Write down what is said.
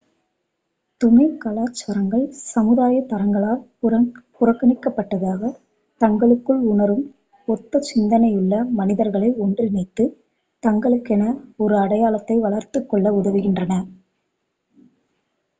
துணை கலாச்சாரங்கள் சமுதாய தரங்களால் புறக்கணிக்கப்பட்டதாக தங்களுக்குள் உணரும் ஒத்த சிந்தனையுள்ள மனிதர்களை ஒன்றிணைத்து தங்களுக்கென ஒரு அடையாளத்தை வளர்த்துக்கொள்ள உதவுகின்றன